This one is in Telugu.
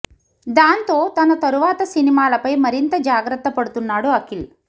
దాంతో తన తరువాత సినిమాల పై మరింత జాగ్రత్త పడుతున్నాడు అఖిల్